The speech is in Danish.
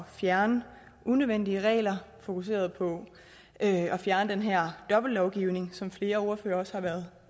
fjerne unødvendige regler fokuseret på at fjerne den her dobbeltlovgivning som flere ordførere også har været